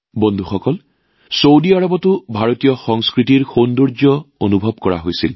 বন্ধুসকল ভাৰতীয় সংস্কৃতিৰ সৌন্দৰ্য্য ছৌদি আৰৱতো অনুভৱ কৰা হৈছিল